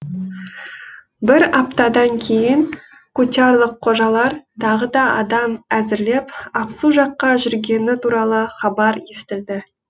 бір аптадан кейін кучарлық қожалар тағы да адам әзірлеп ақсу жаққа жүргені туралы хабар естілді